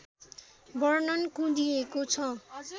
वर्णन कुँदिएको छ